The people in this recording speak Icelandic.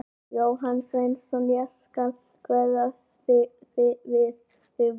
Jóhann Sveinsson: Ég skal kveða við þig vel.